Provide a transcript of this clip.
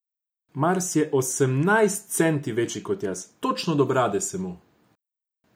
Mars je osemnajst centi večji ko jaz, točno do brade sem mu.